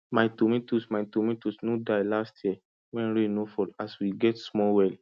my tomatoes my tomatoes no die last year when rain no fall as we get small well